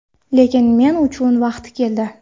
Lekin men uchun vaqti keldi.